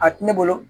A tɛ ne bolo